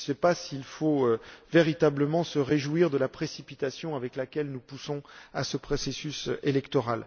Je ne sais pas s'il faut véritablement se réjouir de la précipitation avec laquelle nous poussons la tenue de ces élections.